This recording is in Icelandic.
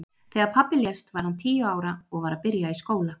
Þegar pabbi lést var hann tíu ára og var að byrja í skóla.